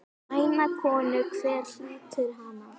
Væna konu, hver hlýtur hana?